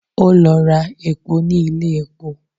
Ó lọ ra epo ní ilé epo